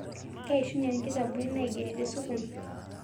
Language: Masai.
Keishunye nkitabuni naigeri tesukul